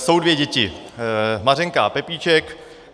Jsou dvě děti, Mařenka a Pepíček.